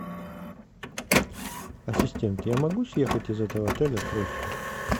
ассистент я могу съехать из этого отеля срочно